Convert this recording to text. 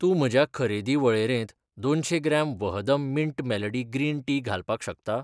तूं म्हज्या खरेदी वळेरेंत दोनशें gram Vahdam mint melody green tea घालपाक शकता?